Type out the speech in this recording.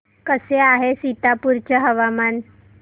कसे आहे सीतापुर चे हवामान